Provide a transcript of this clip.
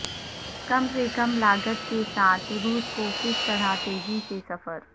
کم سے کم لاگت کے ساتھ روس کو کس طرح تیزی سے سفر